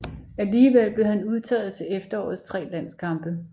Alligevel blev han udtaget til efterårets tre landskampe